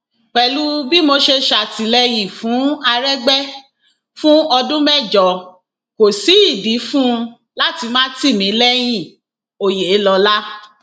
pẹlú bí mo ṣe ṣàtìlẹyìn fún àrẹgbẹ fún ọdún mẹjọ kò sí ìdí fún un láti má tì mí lẹyìnòyelọlá